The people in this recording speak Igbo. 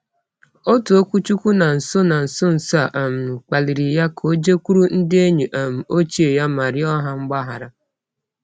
Otu okwuchukwu na nso na nso nso a um kpalịrị ya ka o jekwuru ndị enyi um ochie ya ma rịọ ha mgbaghara.